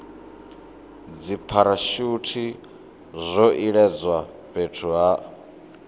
dzipharashuthi zwo iledzwa fhethu ha